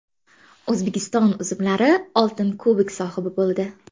O‘zbekiston uzumlari oltin kubok sohibi bo‘ldi.